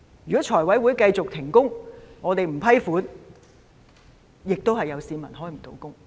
如果財委會繼續停工，我們不批出撥款，亦會有市民無法開工。